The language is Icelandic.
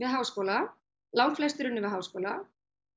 háskóla lang flestir unnu við háskóla